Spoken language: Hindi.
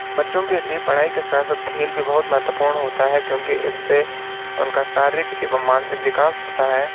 क्रिकेट एक बहुत ही अच्छा खेल होता है क्योंकि इसमें दौड़ भाग के साथ-साथ कई अन्य व्यायाम भी होते हैं।